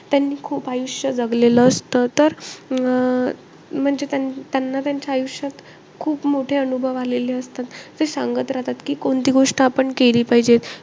त्यांनी खूप आयुष्य जगलेले असतं. तर अं म्हणजे त्यांना त्यांच्या आयुष्यात खूप मोठे अनुभव आलेले असतात. ते सांगत राहतात कि, कोणती गोष्ट आपण केली पाहिजे.